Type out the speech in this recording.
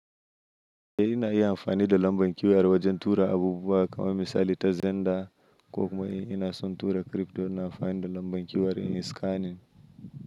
Eh ina iya amfani da lambar QR wajen tura abubuwa, kamar misali ta Zenda, ko kuma in ina son tura crypto, ina amfani da lambar QR in yi scanning.